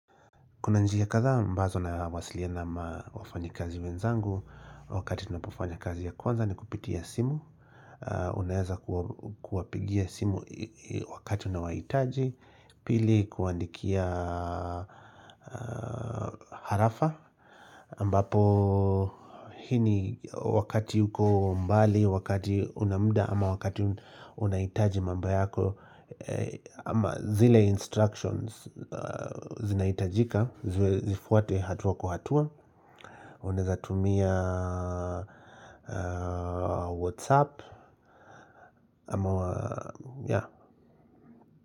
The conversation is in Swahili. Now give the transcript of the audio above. Kuna njia kadhaa ambazo nawasiliana na wafanyikazi wenzangu wakati tunapofanya kazi ya kwanza ni kupitia simu. Unaeza kuwapigia simu wakati unawahitaji pili kuwaandikia arafa ambapo hii ni wakati yuko mbali wakati una muda ama wakati unahitaji mambo yako. Ama zile instructions zinahitajika zifuatwe hatua kwa hatua unaeza tumia Whatsapp ama ya.